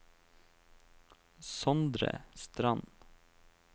Sondre Strand